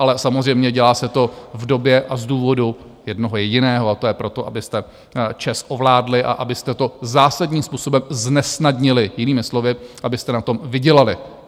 Ale samozřejmě dělá se to v době a z důvodu jednoho jediného, a to je proto, abyste ČEZ ovládli a abyste to zásadním způsobem znesnadnili, jinými slovy, abyste na tom vydělali.